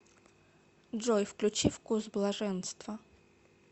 джой включи вкус блаженства